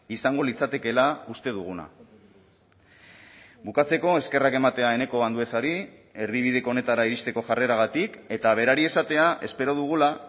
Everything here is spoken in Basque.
izango litzatekeela uste duguna bukatzeko eskerrak ematea eneko anduezari erdibideko honetara iristeko jarreragatik eta berari esatea espero dugula